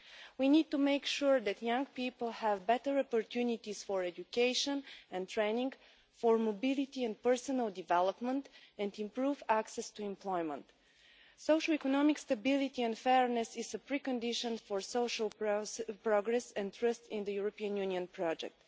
We need to make sure that young people have better opportunities for education and training, mobility and personal development, and improved access to employment. Socio-economic stability and fairness is a pre condition for social progress and trust in the European Union project.